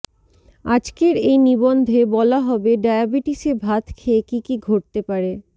আজকের এই নিবন্ধে বলা হবে ডায়াবিটিসে ভাত খেয়ে কী কী ঘটতে পারে